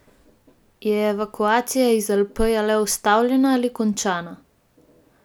Je evakuacija iz Alepa le ustavljena ali končana?